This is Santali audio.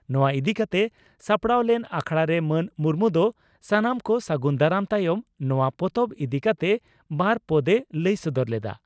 ᱱᱚᱣᱟ ᱤᱫᱤ ᱠᱟᱛᱮ ᱥᱟᱯᱲᱟᱣ ᱞᱮᱱ ᱟᱠᱷᱲᱟᱨᱮ ᱢᱟᱱ ᱢᱩᱨᱢᱩ ᱫᱚ ᱥᱟᱱᱟᱢ ᱠᱚ ᱥᱟᱹᱜᱩᱱ ᱫᱟᱨᱟᱢ ᱛᱟᱭᱚᱢ ᱱᱚᱣᱟ ᱯᱚᱛᱚᱵ ᱤᱫᱤ ᱠᱟᱛᱮ ᱵᱟᱨ ᱯᱚᱫ ᱮ ᱞᱟᱹᱭ ᱥᱚᱫᱚᱨ ᱞᱮᱫᱼᱟ ᱾